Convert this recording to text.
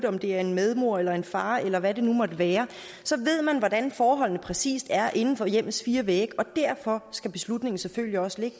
om det er en medmor eller en far eller hvad det nu måtte være så ved man hvordan forholdene præcis er inden for hjemmets fire vægge og derfor skal beslutningen selvfølgelig også ligge